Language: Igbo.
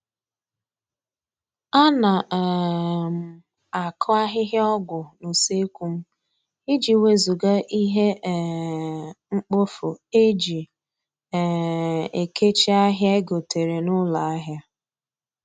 A na um m akụ ahịhịa ọgwụ n'useekwu m, iji wezụga ihe um mkpofu eji um ekechi ahịa egotere n'ụlọ ahịa